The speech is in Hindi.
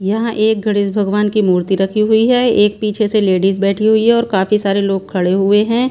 यहां एक गणेश भगवान की मूर्ति रखी हुई है एक पीछे से लेडीज बैठी हुई है और काफी सारे लोग खड़े हुए हैं।